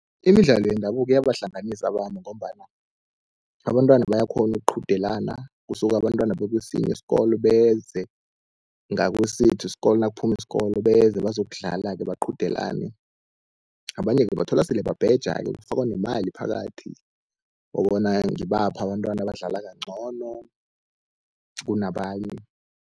Imidlalo yendabuko iyabahlanganisa abantu, ngombana abantwana bayakghona ukuqhudelana, kusuke abantwana bakesinye isikolo beze ngakesethu isikolo nakuphuma isikolo beze bazokudlala-ke baqhudelane. Abanye-ke ubathola sele babheja-ke kufakwa nemali phakathi kobana ngibaphi abantwana abadlala kancono kunabanye.